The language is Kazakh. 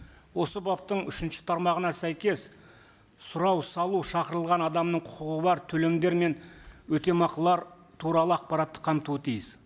осы баптың үшінші тармағына сәйкес сұрау салу шақырылған адамның құқығы бар төлемдер мен өтемақылар туралы ақпаратты қамтуы тиіс